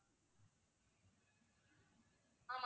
ஆமா